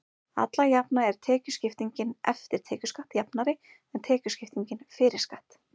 alla jafna er tekjuskiptingin „eftir tekjuskatt“ jafnari en tekjuskipting „fyrir skatt“